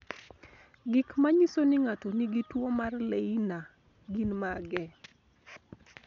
Gik manyiso ni ng'ato nigi tuwo mar Leiner gin mage?